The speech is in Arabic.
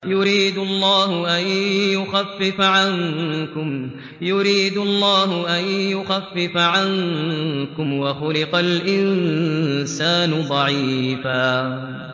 يُرِيدُ اللَّهُ أَن يُخَفِّفَ عَنكُمْ ۚ وَخُلِقَ الْإِنسَانُ ضَعِيفًا